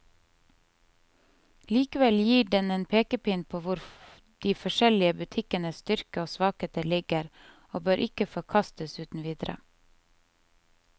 Likevel gir den en pekepinn på hvor de forskjellige butikkenes styrker og svakheter ligger, og bør ikke forkastes uten videre.